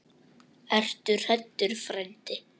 Ertu hræddur frændi?